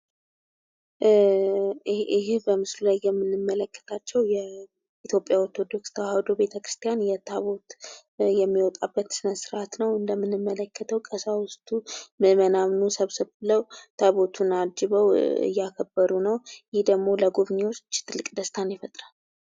ይሄ በምስሉ ላይ የምንመለከታቸው የኢትዮጵያ ኦርቶዶክስ ቤተክርስቲያን ታቦት የሚወጣበት ስነ ስርአት ነው። እንደምንመለከተው ቀሳውስቱ ምዕመናኑ ሰብሰብ ብለው ታቦታቱን አጅበው እያከበሩ ነው። ይህ ደግሞ ለጎብኝዎች ትልቅ ደስታን ይፈጥራል።